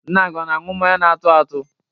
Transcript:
Nna gị ọ na-aṅụ mmanya na-atụ atụ?